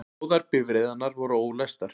Báðar bifreiðarnar voru ólæstar